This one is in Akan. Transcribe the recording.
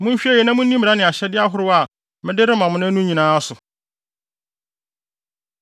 monhwɛ yiye na munni mmara ne ahyɛde ahorow a mede rema mo nnɛ yi no nyinaa so.